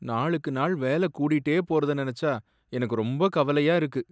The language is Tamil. நாளுக்கு நாள் வேல கூடிட்டே போறத நினைச்சா எனக்கு ரொம்ப கவலையா இருக்கு.